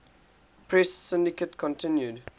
press syndicate continued